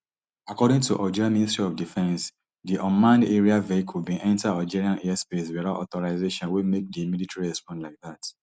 according to algeria ministry of defence di unmanned aerial vehicle bin enta algerian airspace without authorization wey make di military respond like dat